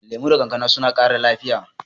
Lemu da kankana suna ƙara lafiya.